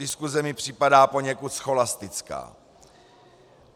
Diskuse mi připadá poněkud scholastická.